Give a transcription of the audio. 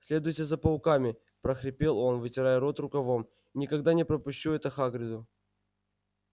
следуйте за пауками прохрипел он вытирая рот рукавом никогда не пропущу это хагриду